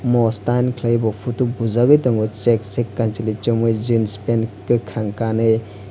mostan klai bo photo bujak oi tongo chak chak kanchwli chumui jeans pant kwkrang kanai.